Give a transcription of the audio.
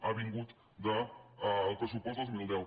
ha vingut del pressupost del dos mil deu